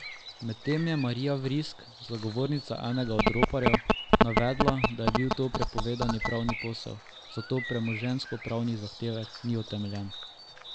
Medtem je Marija Vrisk, zagovornica enega od roparjev, navedla, da je to bil prepovedan pravni posel, zato premoženjskopravni zahtevek ni utemeljen.